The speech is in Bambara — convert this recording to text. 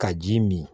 Ka ji mi min